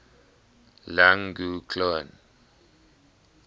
lang gv cloan